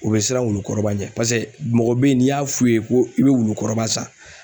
U bɛ siran wulukɔrɔba ɲɛ pase mɔgɔ bɛ ye n'i y'a f'u ye ko i bɛ wulukɔrɔba san